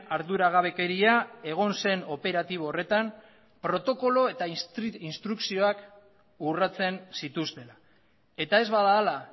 arduragabekeria egon zen operatibo horretan protokolo eta instrukzioak urratsen zituztela eta ez bada hala